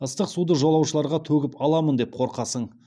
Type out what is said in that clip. ыстық суды жолаушыларға төгіп аламын деп қорқасың